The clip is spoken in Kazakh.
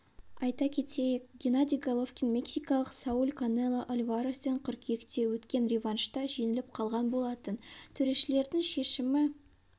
айта кетейік геннадий головкин мексикалық сауль канело альварестен қыркүйекте өткен реваншта жеңіліп қалған болатын төрешілердің шешімі